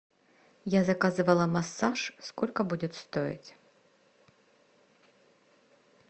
я заказывала массаж сколько будет стоить